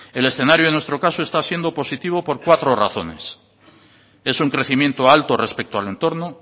el escenario en nuestro caso está siendo positivo por cuatro razones es un crecimiento alto respecto al entorno